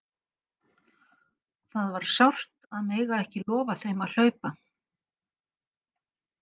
Það var sárt að mega ekki lofa þeim að hlaupa!